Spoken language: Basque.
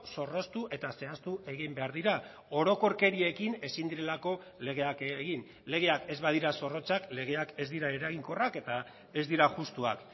zorroztu eta zehaztu egin behar dira orokorkeriekin ezin direlako legeak egin legeak ez badira zorrotzak legeak ez dira eraginkorrak eta ez dira justuak